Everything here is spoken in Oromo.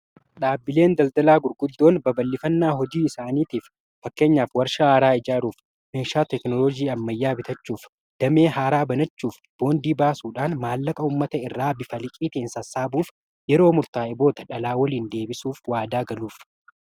Dhaabbileen daldalaa gurguddoon baballifannaa hojii isaaniitiif fakkeenyaaf warshaa haaraa ijaaruuf meeshaa teknooloojii ammayyaa bitachuuf damee haaraa banachuuf boondii baasuudhaan maallaqa uummata irraa bifa liqiitiin sassaabuuf yeroo murtaa'e booda dhalaa waliin deebisuuf waadaa galuuf.